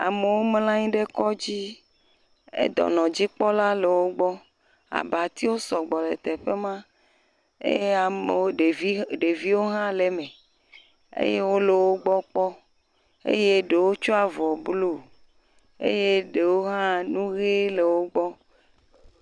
Amowo mlɔanyi ɖe kɔdzi, dɔnɔ dzikpɔla le wo gbɔ, abatiwo sɔgbɔ le teƒe ma, eye amowo, ɖeviwo hã le me, eye wo lo wo gbɔ kpɔ, eye ɖo tsɔ avɔ blu, eye ɖewo hã nu ɣee le wo gbɔ.